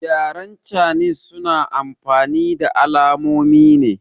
Yaren canis suna amfani da alamonine